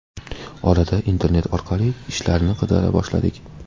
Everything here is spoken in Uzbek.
Orada internet orqali ishlarni qidira boshladik.